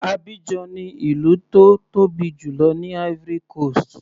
Abidjan ni ìlú tó tóbi jùlọ ní Ivory coast.